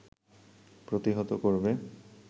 প্রতিহত করবে